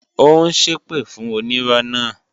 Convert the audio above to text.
Ó ń ṣépè fún onírọ́ náà